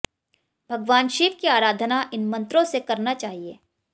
भगवान शिव की आराधना इन मंत्रों से करना चाहिए